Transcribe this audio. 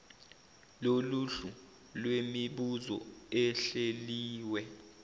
loluhlu lwemibuzo ehleliwe